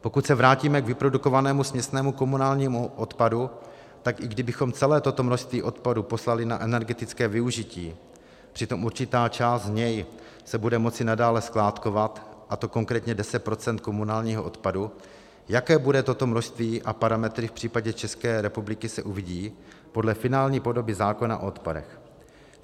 Pokud se vrátíme k vyprodukovanému směsnému komunálnímu odpadu, tak i kdybychom celé toto množství odpadu poslali na energetické využití, přitom určitá část z něj se bude moci nadále skládkovat, a to konkrétně 10 % komunálního odpadu, jaké bude toto množství a parametry v případě České republiky, se uvidí podle finální podoby zákona o odpadech.